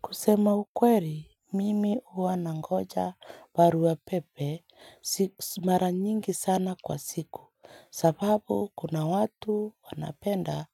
Kusema ukweri mimi hua nangoja barua pepe mara nyingi sana kwa siku sababu kuna watu wanapenda